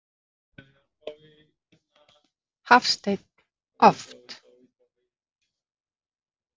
Hafsteinn: Oft?